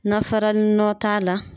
Na farani nɔ t'a la